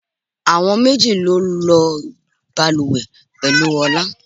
Àwọn méjì ló ń lo bàlùwẹ̀ pẹ̀lú Ọlá.